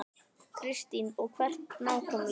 Kristín: Og hvert nákvæmlega?